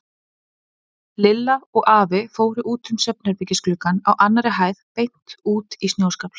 Lilla og afi fóru út um svefnherbergisgluggann á annarri hæð beint út í snjóskafl.